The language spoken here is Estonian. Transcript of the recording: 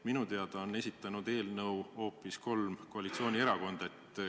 Minu teada on esitanud eelnõu hoopis kolm koalitsioonierakonda.